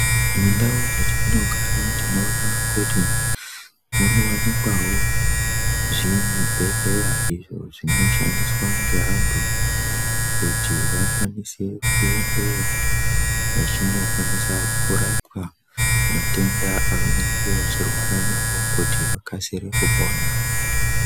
Mundau dzatino gara tinoona kuti muno wanikwawo zvi bhedhleya izvo zvino shandiswa nge antu kuti vakwanise ku endeyo vachino kwanisa kurapwa matenda avanenge vechi rwara navo kuti vakasire kupona.